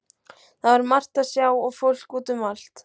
Það var margt að sjá og fólk út um allt.